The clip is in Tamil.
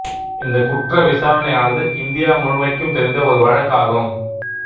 இந்த குற்ற விசாரணையானது இந்தியா முழுமைக்கும் தெரிந்த ஒரு வழக்காகும்